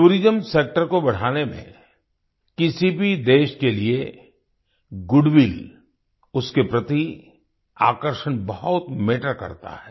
tourism sector को बढ़ाने में किसी भी देश के लिए goodwillउसके प्रति आकर्षण बहुत मैटर करता है